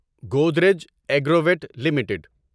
Godrej Agrovet limited